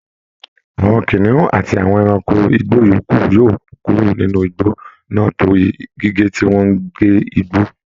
Àwọn kìnìún àti àwọn ẹranko igbó yòókù yóò kúrò nínú igbó náà torí gígé tí wọn ń gé igbó